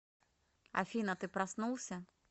афина ты проснулся